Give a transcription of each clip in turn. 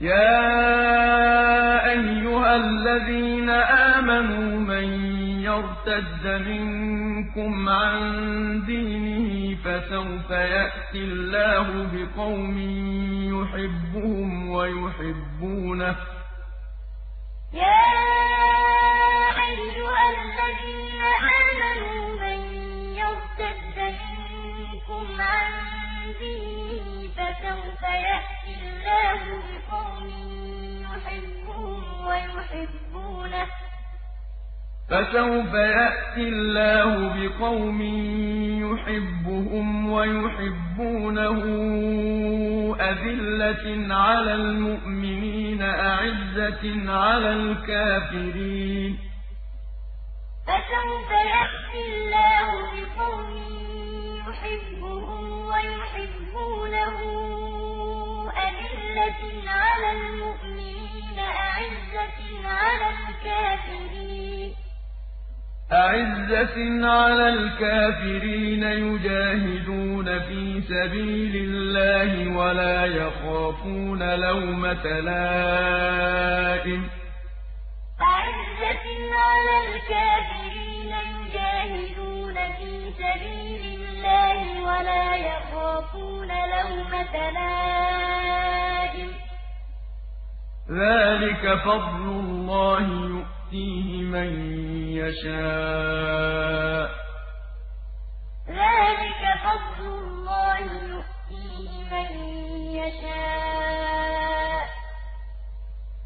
يَا أَيُّهَا الَّذِينَ آمَنُوا مَن يَرْتَدَّ مِنكُمْ عَن دِينِهِ فَسَوْفَ يَأْتِي اللَّهُ بِقَوْمٍ يُحِبُّهُمْ وَيُحِبُّونَهُ أَذِلَّةٍ عَلَى الْمُؤْمِنِينَ أَعِزَّةٍ عَلَى الْكَافِرِينَ يُجَاهِدُونَ فِي سَبِيلِ اللَّهِ وَلَا يَخَافُونَ لَوْمَةَ لَائِمٍ ۚ ذَٰلِكَ فَضْلُ اللَّهِ يُؤْتِيهِ مَن يَشَاءُ ۚ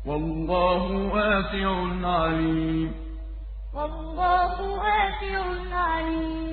وَاللَّهُ وَاسِعٌ عَلِيمٌ يَا أَيُّهَا الَّذِينَ آمَنُوا مَن يَرْتَدَّ مِنكُمْ عَن دِينِهِ فَسَوْفَ يَأْتِي اللَّهُ بِقَوْمٍ يُحِبُّهُمْ وَيُحِبُّونَهُ أَذِلَّةٍ عَلَى الْمُؤْمِنِينَ أَعِزَّةٍ عَلَى الْكَافِرِينَ يُجَاهِدُونَ فِي سَبِيلِ اللَّهِ وَلَا يَخَافُونَ لَوْمَةَ لَائِمٍ ۚ ذَٰلِكَ فَضْلُ اللَّهِ يُؤْتِيهِ مَن يَشَاءُ ۚ وَاللَّهُ وَاسِعٌ عَلِيمٌ